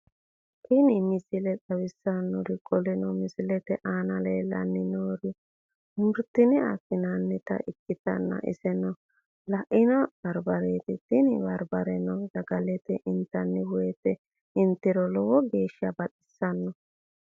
Tini misile xawissannori qoleno misilete aana leellannori murotenni afi'nannita ikkitanna iseno le'ino barbareeti tini barbareno sagaleeti intanni woyte intiro lowo geeshsha baxissano.